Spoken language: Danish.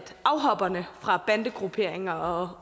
afhopperne fra bandegrupperinger og